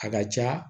A ka ca